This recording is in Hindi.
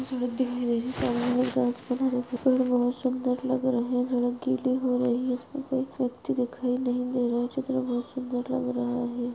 सड़क दिखायी दे रही है बहुत सुन्दर लग रहे हैं सड़क गीली हो रही है। इसपे कोई व्यक्ति दिखाई नही दे रहा चित्र में बहुत सुन्दर लग रहा है।